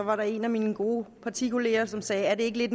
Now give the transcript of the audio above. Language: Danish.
var der en af mine gode partikolleger som sagde er det ikke lidt